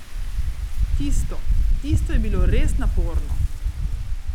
Tisto, tisto je bilo res naporno.